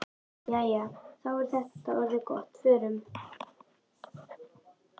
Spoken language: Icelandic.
Jæja, þá er þetta orðið gott. Förum.